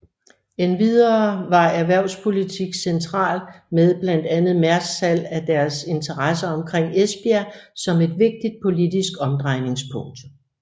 Endvidere var erhvervspolitik centralt med blandt andet Mærsks salg af deres interesser omkring Esbjerg som et vigtigt politisk omdrejningspunkt